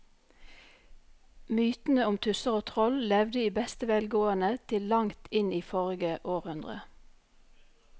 Mytene om tusser og troll levde i beste velgående til langt inn i forrige århundre.